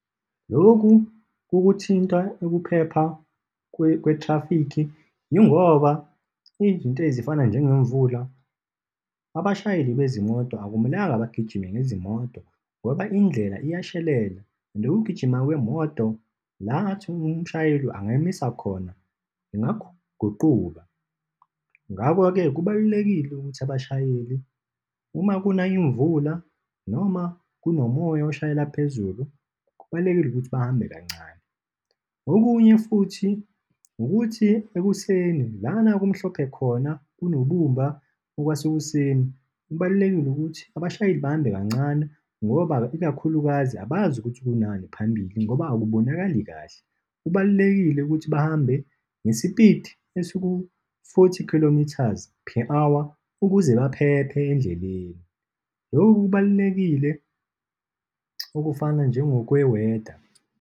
Lokhu kukuthinta ukuphepha kwe-traffic yingoba izinto ezifana nje ngemvula abashayeli bezimoto akumelanga bagijime ngezimoto ngoba indlela ngiyashelela, and ukugijima kwemoto lakathi umshayeli angayimisa khona, ingaguquka. Ngakho-ke, kubalulekile ukuthi abashayeli uma kuna imvula noma kunomoya oshayela phezulu, kubalulekile ukuthi bahambe kancane. Okunye futhi, ukuthi ekuseni, lana kumhlophe khona, kunobumba okwasekuseni, kubalulekile ukuthi abashayeli bahambe kancane, ngoba ikakhulukazi abazi ukuthi kunani phambili ngoba akubonakali kahle. Kubalulekile ukuthi bahambe ngespidi esiku-forty kilometres per hour, ukuze baphephe endleleni. Lokho kubalulekile okufana njengokwe-weather.